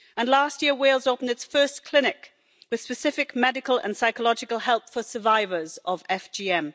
Last year Wales opened its first clinic for specific medical and psychological help for survivors of FGM.